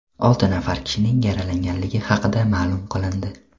Olti nafar kishining yaralanganligi haqida ma’lum qilindi.